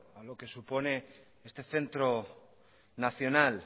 algo que supone este centro nacional